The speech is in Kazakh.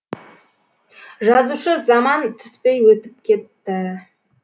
жазушы заман түспей өтіп кетті